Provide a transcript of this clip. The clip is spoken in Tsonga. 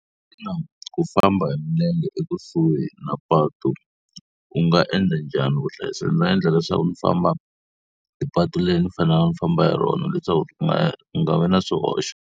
Xana ku famba hi milenge ekusuhi na patu u nga endla njhani ku u hlayiseka? Ndzi ta endla leswaku ndzi famba hi patu leri ni faneleke ni famba hi rona leswaku ku nga ku nga vi na swihoxo.